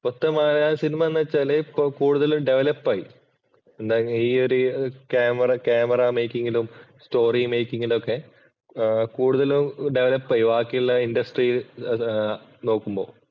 ഇപ്പത്തെ മാതി സിനിമ എന്നുവച്ചാല് കൂടുതലും ഡെവലപ് ആയി. ഈയൊരു ക്യാമറ മേക്കിങ്ങിലും, സ്റ്റോറി മേക്കിങ്ങിലും ഒക്കെ കൂടുതലും ഡെവലപ് ആയി. ബാക്കിയുള്ള ഇന്‍ഡസ്ട്രീ നോക്കുമ്പോൾ